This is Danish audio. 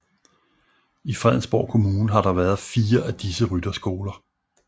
I Fredensborg Kommune har der været fire af disse rytterskoler